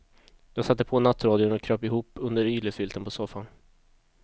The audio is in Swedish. Jag satte på nattradion och kröp ihop under yllefilten på soffan.